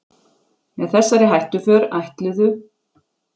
Með þessari hættuför ætluðu